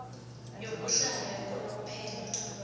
yokuhlala yakanomphela